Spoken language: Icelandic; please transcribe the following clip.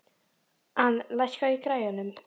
Ann, lækkaðu í græjunum.